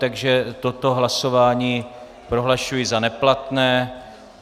Takže toto hlasování prohlašuji za neplatné.